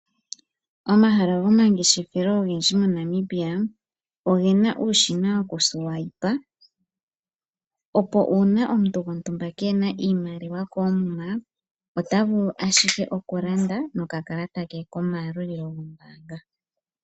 Omahala gomangeshefelo ogendji moNamibia oge na uushina wokuswayipa, opo uuna omuntu gontumba keena iimaliwa koomuma, ota vulu ashike oku landa nokakalata ke komayalulilo gombaanga.